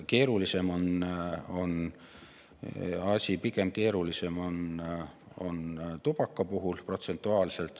Protsentuaalselt on asi keerulisem pigem tubaka puhul.